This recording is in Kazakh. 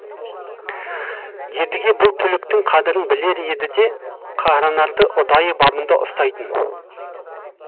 едіге бұл түліктің қадірін білер еді де қаранарды ұдайы бабында ұстайтын